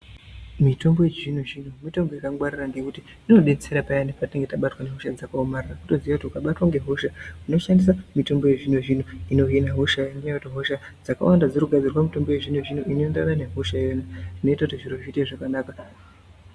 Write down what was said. Mitombo yechizvinozvino mitombo yakangwarira ngekuti inodetsera payani patinenge tabatwa ngehosha dzakaomarara wotoziye kuti ukabatwe ngehosha unoshandisa mito yezvinozvino inohina hosha ngenyaya yekuti hosha dzakawanda dzirikugadzirwa mitombo yezvinozvino inoenderana nehosha iyona inoita kuti zviro zviite zvakanaka.